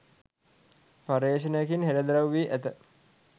පර්යේෂණයකින් හෙළිදරව් වී ඇත.